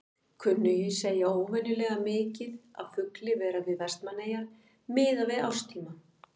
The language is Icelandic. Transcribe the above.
Kunnugir segja óvenjulega mikið af fugli vera við Vestmannaeyjar miðað við árstíma.